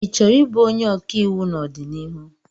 Ị chọrọ ị bụ onye ọkàiwụ n'ọdịnihu?